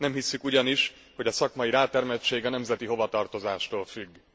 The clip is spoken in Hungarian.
Nem hisszük ugyanis, hogy a szakmai rátermettség nemzeti hovatartozástól függ.